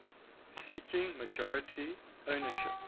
seeking majority ownership